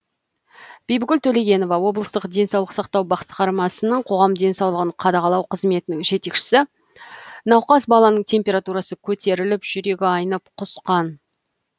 бибігүл төлегенова облыстық денсаулық сақтау басқармасының қоғам денсаулығын қадағалау қызметінің жетекшісі науқас баланың температурасы көтеріліп жүрегі айнып құсқан